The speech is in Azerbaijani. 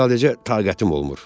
Sadəcə taqətim olmur.